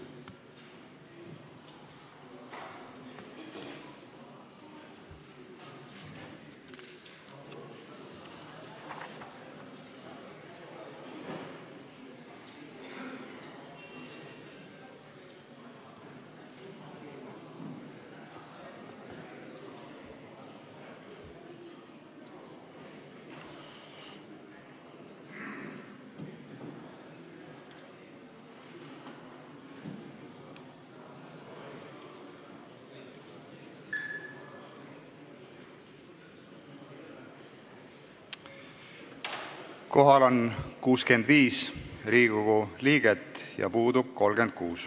Kohaloleku kontroll Kohal on 65 Riigikogu liiget, puudub 36.